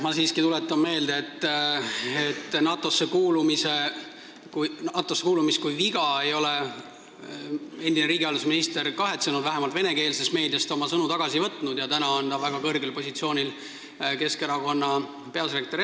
Ma siiski tuletan meelde, et oma väidet, et NATO-sse kuulumine on viga, ei ole endine riigihalduse minister kahetsenud, vähemalt venekeelses meedias ta oma sõnu tagasi ei ole võtnud ja täna on ta väga kõrgel positsioonil, Keskerakonna peasekretär.